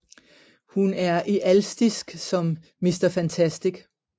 Hun er ealstisk som Mr Fantastic